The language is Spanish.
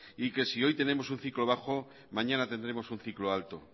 y que si hoy tenemos un ciclo bajo mañana tendremos un ciclo alto